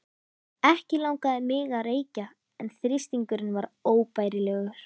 Ekki langaði mig að reykja en þrýstingurinn var óbærilegur.